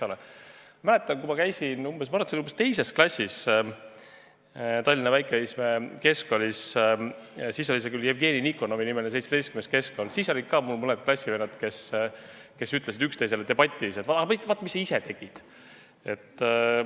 Ma mäletan, kui ma käisin, ma arvan, et see oli umbes 2. klassis pärastises Tallinna Väike-Õismäe Keskkoolis, mis siis oli Jevgeni Nikonovi nimeline Tallinna 17. keskkool, siis olid mul mõned klassivennad, kes tihti ütlesid üksteisele vaieldes, et aga vaata, mis sa ise tegid!